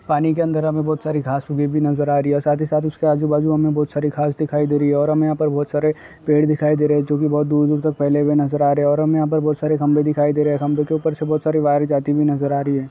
पानी के अन्दर हमें बहोत सारी घांस उगी हुई नजर आ रही है और साथ ही साथ उसके आजू बाजू हमें बहोत सारी घांस दिखाई दे रही है और हमे यहाँ पर बहोत सारे पेड़ दिखाई दे रहे हैं जोकि बहोत दूर दूर तक फैले हुए नजर आ रहे हैं और हमे यहाँ पर बहोत सारे खम्बे दिखाई दे रहे हैं। खम्भे के ऊपर से बहोत सारी वायर्स जाती हुई नजर आ रही हैं।